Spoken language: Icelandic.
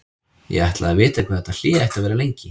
Ég ætlaði að vita hvað þetta hlé ætti að vera lengi.